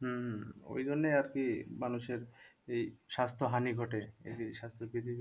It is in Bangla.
হম হম ওই জন্যই আরকি মানুষের এই স্বাস্থ্যহানি ঘটে এই যে স্বাস্থ্য বিধি